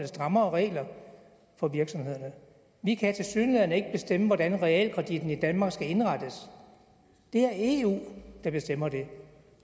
strammere regler for virksomhederne vi kan tilsyneladende ikke bestemme hvordan realkreditten i danmark skal indrettes det er eu der bestemmer det